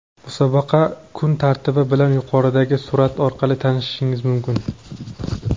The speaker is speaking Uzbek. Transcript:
Musobaqa kun tartibi bilan yuqoridagi surat orqali tanishishingiz mumkin.